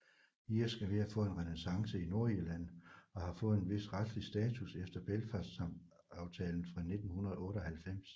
Irsk er ved at få en renæssance i Nordirland og har fået en vis retslig status efter Belfastaftalen fra 1998